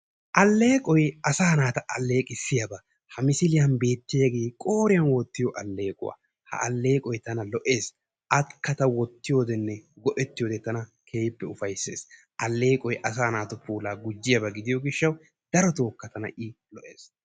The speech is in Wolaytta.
Alleeqoy asaa naata alleeqqisiyaba. Ha misiliyan beetiyage qoriyan wottiyo alleeqquwaa. Ha alleeqqoy tana lo'ees. Akka ta wottiyodene go'ettiyode tana keehippe ufayssees. Alleeqoy asaa naatu puulaa gujjiyaba gidiyo gishawu darotoka tana i lo'ees.